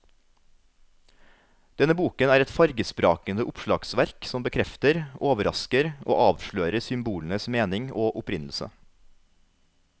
Denne boken er et fargesprakende oppslagsverk som bekrefter, overrasker og avslører symbolenes mening og opprinnelse.